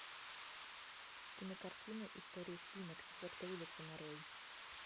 кинокартина история свинок четвертая улица нарой